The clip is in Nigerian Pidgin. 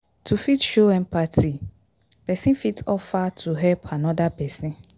to fit show empathy person fit offer to help anoda person